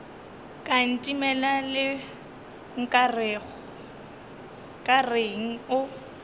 ka ntemela le nkareng o